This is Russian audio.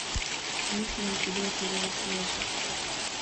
есть ли у тебя сериал слэшер